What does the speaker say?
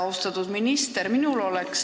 Austatud minister!